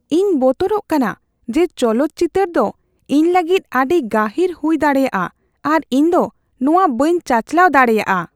ᱤᱧ ᱵᱚᱛᱚᱨᱚᱜ ᱠᱟᱱᱟ ᱡᱮ ᱪᱚᱞᱚᱛ ᱪᱤᱛᱟᱹᱨ ᱫᱚ ᱤᱧ ᱞᱟᱹᱜᱤᱫ ᱟᱹᱰᱤ ᱜᱟᱹᱦᱤᱨ ᱦᱩᱭ ᱫᱟᱲᱮᱭᱟᱜᱼᱟ ᱟᱨ ᱤᱧ ᱫᱚ ᱱᱚᱣᱟ ᱵᱟᱹᱧ ᱪᱟᱪᱟᱞᱟᱣ ᱫᱟᱲᱮᱭᱟᱜᱼᱟ ᱾